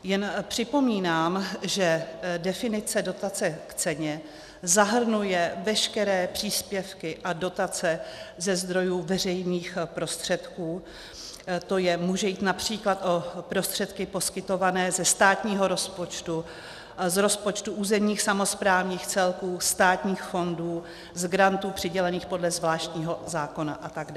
Jen připomínám, že definice dotace k ceně zahrnuje veškeré příspěvky a dotace ze zdrojů veřejných prostředků, tj. může jít například o prostředky poskytované ze státního rozpočtu, z rozpočtu územních samosprávných celků, státních fondů, z grantů přidělených podle zvláštního zákona atd.